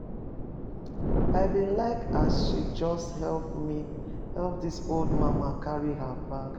I bin like as she just helep di old mama carry her bag.